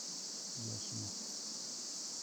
яхину